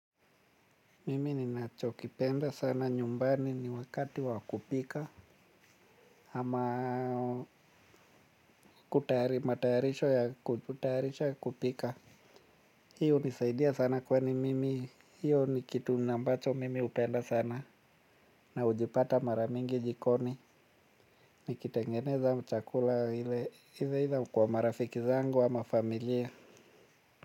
Mimi ninachokipenda sana nyumbani ni wakati wa kupika. Ama kutahari mataharisho ya kutaharisha kupika. Hiyo hunisaidia sana kwani mimi hiyo ni kitu na ambacho mimi hupenda sana. Na hujipata mara mingi jikoni. Nikitengeneza chakula ile either kwa marafiki zangu ama familia.